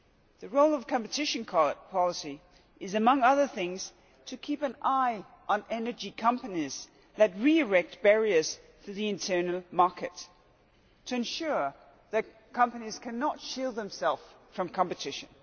The role of competition policy is, among other things, to keep an eye on energy companies that re erect barriers to the internal market to ensure that companies cannot shield themselves from competition.